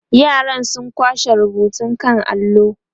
yaran sun kwashe rubutun kan allo